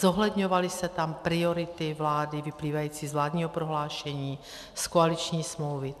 Zohledňovaly se tam priority vlády vyplývající z vládního prohlášení, z koaliční smlouvy.